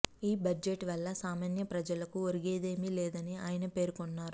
ఈ బడ్జెట్ వల్ల సామాన్య ప్రజలకు ఒరిగేదేమీ లేదని ఆయన పేర్కొన్నారు